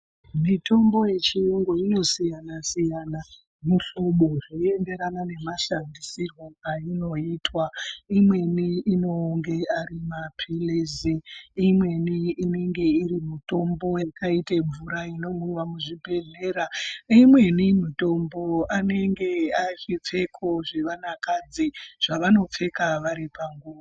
Mitombo yechiyungu inosiyana-siyana muhlobo zveienderana nemashandisirwo ainoitwa. Imweni inonge ari maphirizi imweni ingenge iri mitombo yakaite mvura inomwiva muzvibhedhlera. Imweni mitombo inenge asvitse kuzvivanakadzi zvevanopfeka vari panguva.